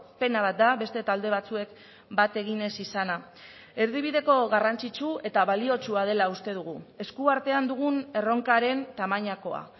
pena bat da beste talde batzuek bat egin ez izana erdibideko garrantzitsu eta baliotsua dela uste dugu eskuartean dugun erronkaren tamainakoa